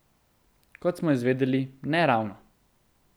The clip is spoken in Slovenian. Kot smo izvedeli, ne ravno.